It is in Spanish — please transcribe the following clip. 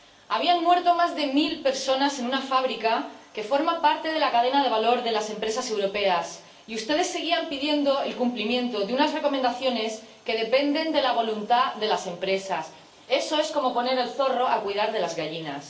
Habían muerto más de mil personas en una fábrica que forma parte de la cadena de valor de las empresas europeas y ustedes seguían pidiendo el cumplimiento de unas recomendaciones que dependen de la voluntad de las empresas eso es como poner al zorro a cuidar de las gallinas.